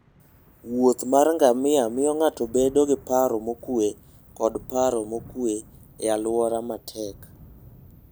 wuoth mar ngamia miyo ng'ato bedo gi paro mokuwe koda paro mokuwe e alwora matek.